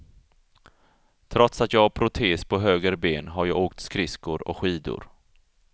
Trots att jag har protes på höger ben har jag åkt skridskor och skidor.